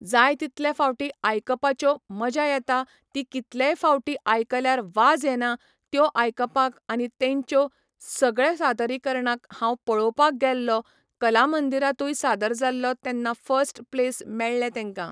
जाय तितले फावटी आयकपाच्यो मजा येता ती कितलेंय फावटी आयकल्यार वाज येना त्यो आयकपाक आनी तेंचो सगळें सादरीकरणाक हांव पळोवपाक गेल्लो कला मंदिरांतूय सादर जाल्लो तेन्ना फस्ट प्लेस मेळ्ळें तेंका